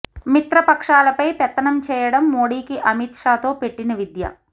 మిత్రపక్షాలపై పెత్తనం చేయడం మోడీకి అమిత్ షా తో పెట్టిన విద్య